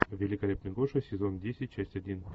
великолепный гоша сезон десять часть один